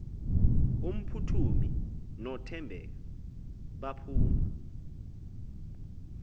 umphuthumi nothembeka baphuma